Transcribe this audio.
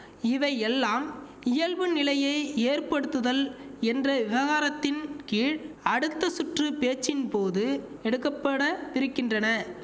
இவை எல்லாம் இயல்பு நிலையை ஏற்படுத்துதல் என்ற விவகாரத்தின் கீழ் அடுத்த சுற்று பேச்சின்போது எடுக்க பட பிரிக்கின்றன